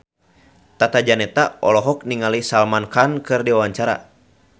Tata Janeta olohok ningali Salman Khan keur diwawancara